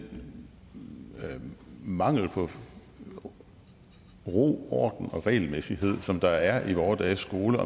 mangel på ro orden og regelmæssighed som der er i vore dages skole